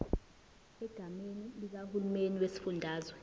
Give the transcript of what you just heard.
egameni likahulumeni wesifundazwe